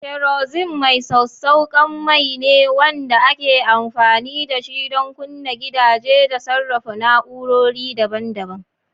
Kerosene mai sassauƙan mai ne wanda ake amfani da shi don kunna gidaje da sarrafa na'urori daban-daban.